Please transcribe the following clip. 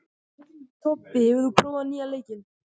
Tobbi, hefur þú prófað nýja leikinn?